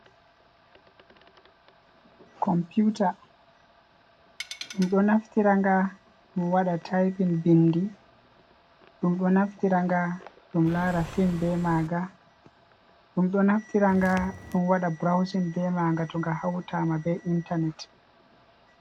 Compiuta, ɗum ɗo naftiranga ɗum waɗa taypin bindi ɗum ɗo naftiranga, ɗum lara fim be maga, ɗum ɗo naftiranga ɗum wada burauzin be maga to nga hautama be intanet.